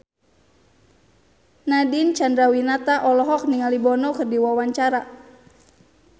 Nadine Chandrawinata olohok ningali Bono keur diwawancara